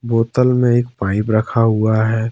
बोतल में एक पाइप रखा हुआ है।